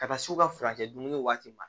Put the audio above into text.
Ka taa s'u ka furancɛ dimini waati ma